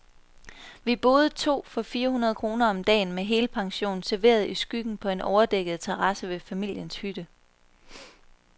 Vi boede to for fire hundrede kroner om dagen, med helpension, serveret i skyggen på en overdækket terrasse ved familiens hytte.